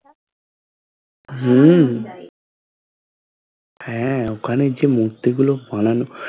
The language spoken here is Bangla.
হম হ্যাঁ ওখানে মূর্তি গুলো বানানো